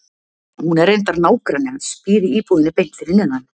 Hún er reyndar nágranni hans, býr í íbúðinni beint fyrir neðan.